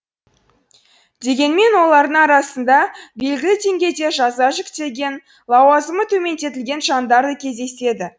дегенмен олардың арасында белгілі деңгейде жаза жүктелген лауазымы төмендетілген жандар да кездеседі